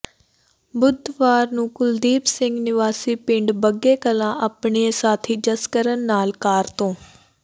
ਬੁੱਧਵਾਰ ਨੂੰ ਕੁਲਦੀਪ ਸਿੰਘ ਨਿਵਾਸੀ ਪਿੰਡ ਬੱਗੇ ਕਲਾਂ ਆਪਣਏ ਸਾਥੀ ਜਸਕਰਨ ਨਾਲ ਕਾਰ ਤੋਂ